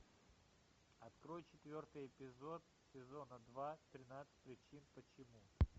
открой четвертый эпизод сезона два тринадцать причин почему